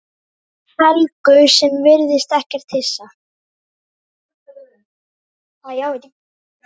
Helgu sem virðist ekkert hissa.